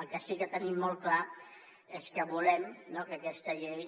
el que sí que tenim molt clar és que volem que aquesta llei